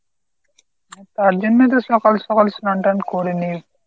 তার জন্যেই তো সকাল সকাল স্নান টান করে নিই।